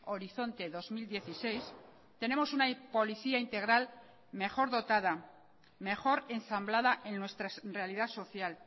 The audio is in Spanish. horizonte dos mil dieciséis tenemos una policía integral mejor dotada mejor ensamblada en nuestra realidad social